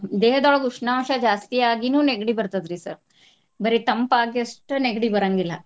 ದೇಹದೊಳಗ್ ಉಷ್ಣಾಂಶ ಜಾಸ್ತಿ ಆಗಿನು ನೆಗಡಿ ಬರ್ತದ್ರಿ sir ಬರೆ ತಂಪಾಗಿ ಅಷ್ಟ ನೆಗಡಿ ಬರಾಂಗಿಲ್ಲ.